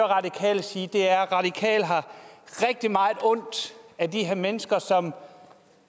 radikale sige er at radikale har rigtig meget ondt af de her mennesker som